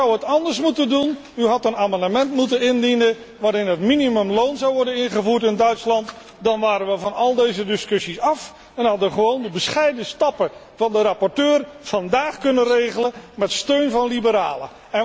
U zou het anders moeten doen. U had een amendement moeten indienen waarin het minimumloon zou worden ingevoerd in Duitsland, dan waren we van al deze discussies af en hadden we gewoon de bescheiden stappen van de rapporteur vandaag kunnen regelen met steun van liberalen.